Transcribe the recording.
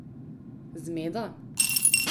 Zmeda?